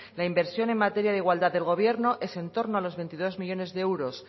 la inversión en materia de igualdad del gobierno es en torno a los veintidós millónes de euros